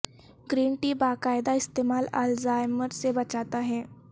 green tea کا باقاعدہ استعمال الزائمر سے بچاتا ہے